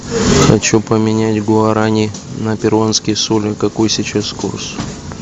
хочу поменять гуарани на перуанские соли какой сейчас курс